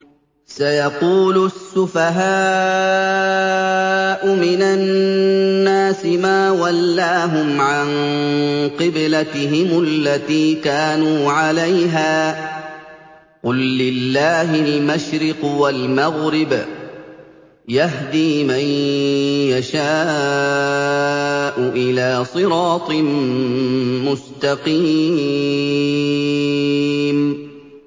۞ سَيَقُولُ السُّفَهَاءُ مِنَ النَّاسِ مَا وَلَّاهُمْ عَن قِبْلَتِهِمُ الَّتِي كَانُوا عَلَيْهَا ۚ قُل لِّلَّهِ الْمَشْرِقُ وَالْمَغْرِبُ ۚ يَهْدِي مَن يَشَاءُ إِلَىٰ صِرَاطٍ مُّسْتَقِيمٍ